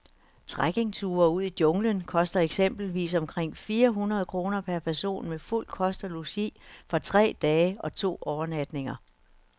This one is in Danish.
Trekkingture ud i junglen koster eksempelvis omkring fire hundrede kroner per person med fuld kost og logi for tre dage og to overnatninger.